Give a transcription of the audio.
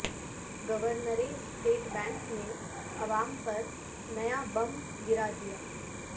governor state bank نے عوام پر نیا بم گرا دیا